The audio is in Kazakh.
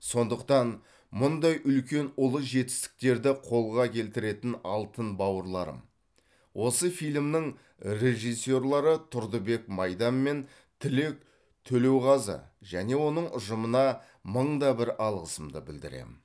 сондықтан мұндай үлкен ұлы жетістіктерді қолға келтіретін алтын бауырларым осы фильмнің режиссерлары тұрдыбек майдан мен тілек төлеуғазы және оның ұжымына мың да бір алғысымды білдіремін